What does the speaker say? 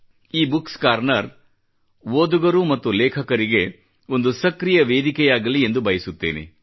ಈ books corner ಓದುಗರು ಮತ್ತು ಲೇಖಕರಿಗೆ ಒಂದು ಸಕ್ರೀಯ ವೇದಿಕೆಯಾಗಲಿ ಎಂದು ಬಯಸುತ್ತೇನೆ